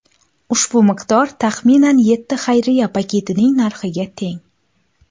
Ushbu miqdor taxminan yetti xayriya paketining narxiga teng.